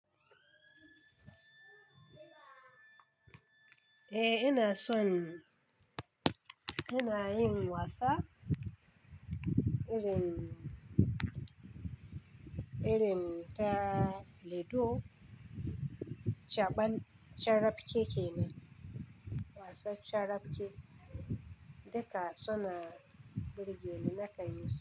Eh ina son, ina yin wasa irin, irin ta ludo, caɓal, carafke kenan, wasan carafke, duka su na birge ni na kan yisu.